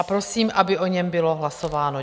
A prosím, aby o něm bylo hlasováno.